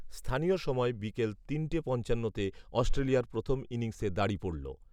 স্থানীয় সময় বিকাল তিনটে পঞ্চান্নতে অস্ট্রেলিয়ার প্রথম ইনিংসে দাড়ি পড়ল